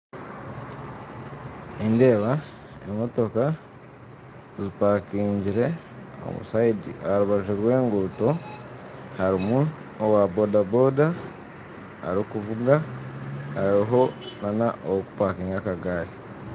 Nindeeba emotooka zipakingire aharubaju rwenguuto harimu owaboodaboda arikuvuga hariho nana ahokupakinga akagari